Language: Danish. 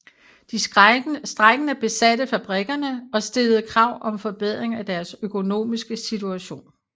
De strejkende besatte fabrikkerne og stillede krav om forbedring af deres økonomiske situation